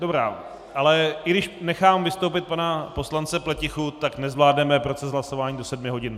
Dobrá, ale i když nechám vystoupit pana poslance Pletichu, tak nezvládneme proces hlasování do sedmi hodin.